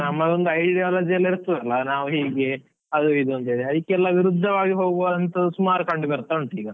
ನಮ್ಮ ಒಂದು ideology ಎಲ್ಲ ಇರ್ತದಲ್ಲ, ನಾವು ಹೀಗೆ ಅದು ಇದು ಅಂತ ಹೇಳಿ ಅದಕ್ಕೆಲ್ಲ ವಿರುದ್ಧವಾಗಿ ಹೋಗುವಂತದು ಸುಮಾರು ಕಂಡು ಬರ್ತಾ ಉಂಟು ಈಗ.